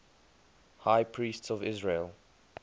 high priests of israel